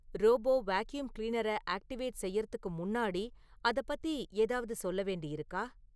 robot vacuum cleaner activate செய்யறதுக்கு முன்னாடி அதப் பத்தி ஏதாவது சொல்ல வேண்டி இருக்கா